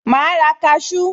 Màá ra kaṣú